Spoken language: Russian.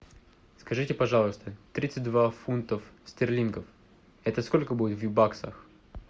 скажите пожалуйста тридцать два фунтов стерлингов это сколько будет в баксах